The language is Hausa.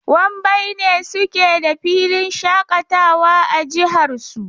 Wambai ne suke da filin shaƙatawa a jihar su.